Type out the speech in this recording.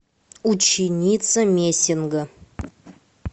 ученица мессинга